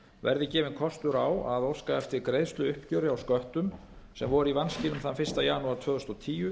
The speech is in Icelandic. verði gefinn kostur á að óska eftir greiðsluuppgjöri á sköttum sem voru í vanskilum þann fyrsta janúar tvö þúsund og tíu